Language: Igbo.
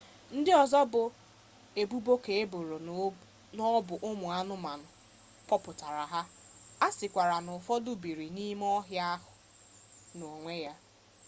ndị ọzọ bụ ebubo ka eboro n'ọbụ ụmụ anụmanụ kpọpụtara ha a sịkwara n'ụfọdụ biri n'ime ọhịa na onwe ha